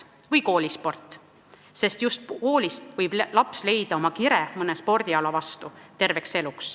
Või võtame koolispordi: just koolist võib laps terveks eluks leida kire mõne spordiala vastu.